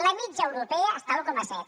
la mitjana europea està a l’un coma set